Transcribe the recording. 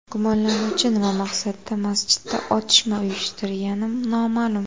Gumonlanuvchi nima maqsadda masjidda otishma uyushtirgani noma’lum.